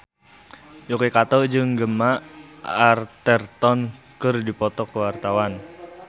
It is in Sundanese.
Yuki Kato jeung Gemma Arterton keur dipoto ku wartawan